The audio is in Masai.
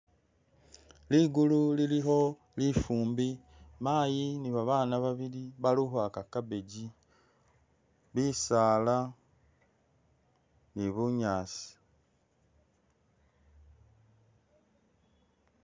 Ligulu lilikho lifumbi, mayi ni babaana babili bali ukhwaka cabbage, bisaala ni bunyaasi.